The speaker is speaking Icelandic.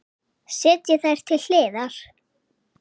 Setjið þær til hliðar.